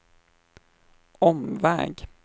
omväg